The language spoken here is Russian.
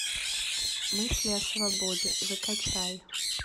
мысли о свободе закачай